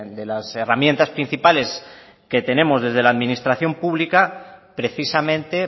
de las herramientas principales que tenemos desde la administración pública precisamente